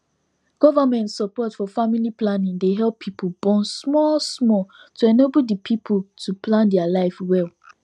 government support for family planning dey help people born small small to enable the people to plan their life well